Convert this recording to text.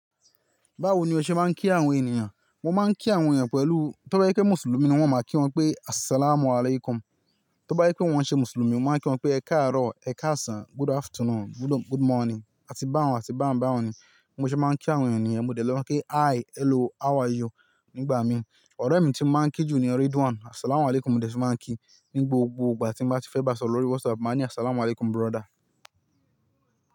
Báwo ni o ṣe máa ń kí àwọn ènìyàn? Mo máa ń kí àwọn ènìyàn pẹ̀lú, tó bá yẹ pé Mùsùlùmí ni wọ́n, màá kí wọ́n pé "Assalamualaikum". Tó bá yẹ pé wọ́n ṣe Mùsùlùmí, mo máa kí wọ́n pé "ẹ káàárọ̀", "ẹ káàsán", "good afternoon", "good morning" àti bá wọn, àti bá wọn bá wọn ni. Bí mo ṣe máa ń kí àwọn ènìyàn ni mo dé lè máa kí "hi", "hello", "how are you" nígbà mi. Ọ̀rẹ́ mi tí mo máa ń kí jù ni Ridwan, "assalamualaikum" mo dé ti máa ń kí. Ní gbogbo ìgbà tí mo bá ti fẹ́ bá a sọ̀rọ̀ lórí WhatsApp, màá ní "assalamualaikum brother".